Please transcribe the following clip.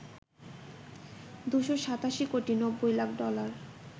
২৮৭ crore ৯০ lakh dollar